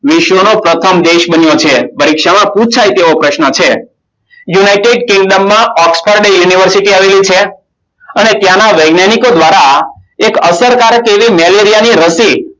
વિશ્વનો પ્રથમ દેશ બન્યો છે. પરીક્ષામાં પુછાય તેવો પ્રશ્ન છે. યુનાઇટેડ કિંગડમ માં ઓક્સફોર્ડ યુનિવર્સિટી આવેલી છે અને તેના વૈજ્ઞાનિકો દ્વારા એક અસરકારક એવી મેલેરિયા ની રસી,